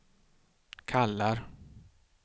kallar